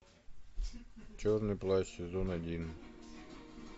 черный плащ сезон один